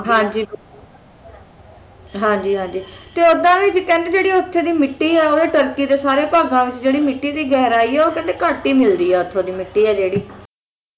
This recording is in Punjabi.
ਹਾਂ ਜੀ ਹਾਂ ਜੀ ਹਾਂ ਜੀ ਤੇ ਉੱਦਾਂ ਵੀ ਉਹ ਕਹਿੰਦੇ ਜਿਹੜੀ ਉੱਥੇ ਦੀ ਮਿੱਟੀ ਹੈ ਓਹਦੇ ਤੁਰਕੀ ਦੇ ਵਿੱਚ ਮਿੱਟੀ ਦੀ ਗਹਿਰਾਈ ਹੈ ਉਹ ਕਹਿੰਦੇ ਘੱਟ ਹੀ ਮਿਲਦੀ ਹੈ ਉੱਥੋਂ ਦੀ ਮਿੱਟੀ ਹੈ ਜਿਹੜੀ